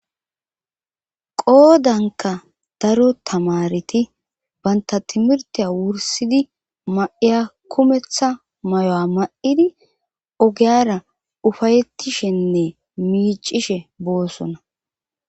qoodanka daro tamareti banta timirtiya wursidi ma7iya kumeththa mayo7a ma7idi ogeyara ufayettishenne miicishe boossona